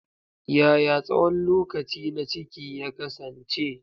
Yaya tsawon lokaci na ciki ya kasance?